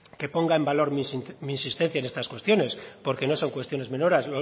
que ponga en valor mis existencia en estas cuestiones porque no son cuestiones menoras